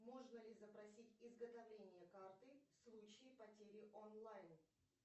можно ли запросить изготовление карты в случае потери онлайн